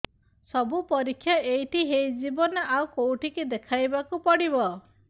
ସବୁ ପରୀକ୍ଷା ଏଇଠି ହେଇଯିବ ନା ଆଉ କଉଠି ଦେଖେଇ ବାକୁ ପଡ଼ିବ